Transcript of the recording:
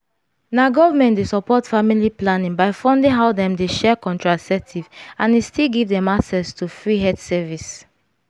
na government dey support family planning by funding how dem dey share contraceptive and e still give dem access to free health service